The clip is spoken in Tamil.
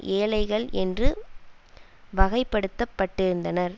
ஏழைகள் என்று வகைப்படுத்தப்பட்டிருந்தனர்